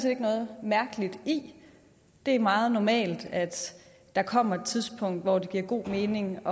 ikke noget mærkeligt i det er meget normalt at der kommer et tidspunkt hvor det giver god mening